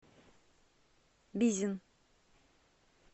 бизин